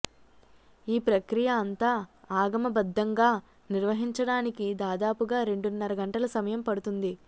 ఈ ప్రక్రియ అంతా ఆగమబద్ధంగా నిర్వహించడానికి దాదాపుగా రెండున్నర గంటల సమయం పడుతుంది